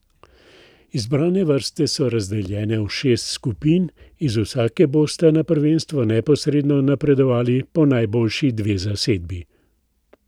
Izbrane vrste so razdeljene v šest skupin, iz vsake bosta na prvenstvo neposredno napredovali po najboljši dve zasedbi.